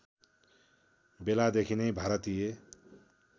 बेलादेखि नै भारतीय